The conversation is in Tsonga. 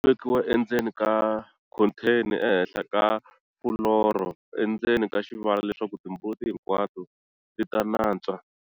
Vekiwa endzeni ka khontheni ehenhla ka fuloro endzeni ka xivala leswaku timbuti hinkwato ti ta nantswa.